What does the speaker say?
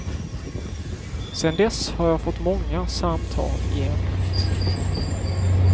Sedan dess har jag fått många samtal i ämnet.